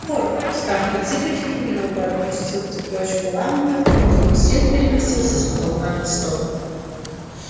порк став на цыпочки немного отпустил цепочку лампы чтобы свет переместился с потолка на стол